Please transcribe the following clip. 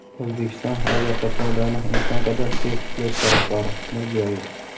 O‘zbekiston aviaqatnovlarni imkon qadar tez tiklash tarafdori – Mirziyoyev.